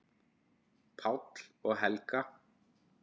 Páll og Helga.